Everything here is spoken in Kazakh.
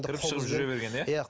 кіріп шығып жүре берген иә иә